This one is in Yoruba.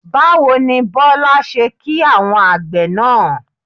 Báwo ni Bọ́lá ṣe kí àwọn àgbẹ̀ náà?